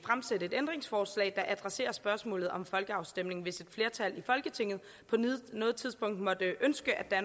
stille et ændringsforslag der adresserer spørgsmålet om en folkeafstemning hvis et flertal i folketinget på noget tidspunkt måtte ønske at